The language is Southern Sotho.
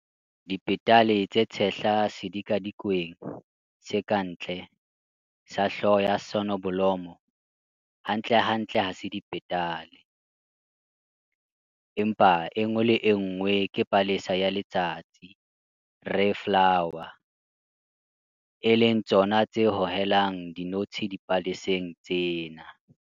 Dipetale tse tshehla sedikadikweng se ka ntle sa hloho ya soneblomo hantlentle ha se dipetale, empa e nngwe le e nngwe ke palesa ya letsatsi 'ray flower' e leng tsona tse hohelang dinotshi dipaleseng tsena.